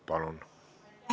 Palun!